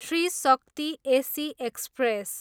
Shri Shakti AC express